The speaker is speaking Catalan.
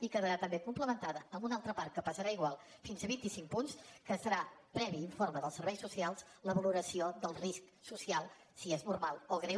i quedarà també complementada amb una altra part que pesarà igual fins a vint i cinc punts que serà previ informe dels serveis socials la valoració del risc social si és normal o greu